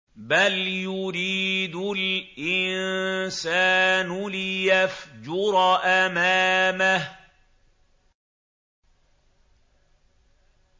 بَلْ يُرِيدُ الْإِنسَانُ لِيَفْجُرَ أَمَامَهُ